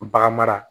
Bagan mara